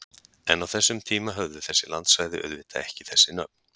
En á þessum tíma höfðu þessi landsvæði auðvitað ekki þessi nöfn!